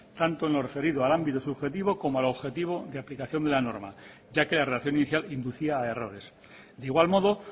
tanto en lo referido a los ámbitos subjetivo como al objetivo de aplicación de la norma ya que la relación inicial inducia a errores de igual modo